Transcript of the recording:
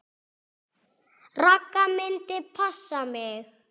Ragga myndi passa mig.